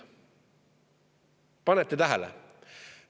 Kas panete tähele?